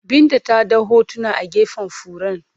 Binta ta ɗau hotuna a gefen furen.